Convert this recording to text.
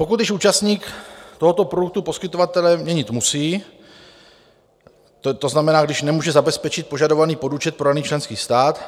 Pokud již účastník tohoto produktu poskytovatele měnit musí, to znamená, když nemůže zabezpečit požadovaný podúčet pro daný členský stát,